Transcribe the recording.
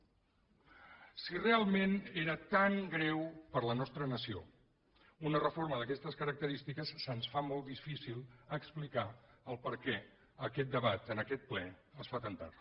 si realment era tan greu per a la nostra nació una reforma d’aquestes característiques se’ns fa molt difícil explicar per què aquest debat en aquest ple es fa tan tard